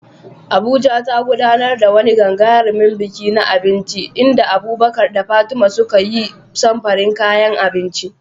Abuja ta gudanar da wani gagarumin biki na abinci inda Abubakar da Fatima suka yi samfurin kayan abinci.